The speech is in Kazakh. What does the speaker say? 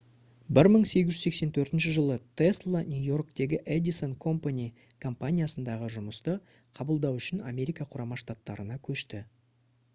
1884 жылы тесла нью-йорктегі edison company компаниясындағы жұмысты қабылдау үшін америка құрама штаттарына көшті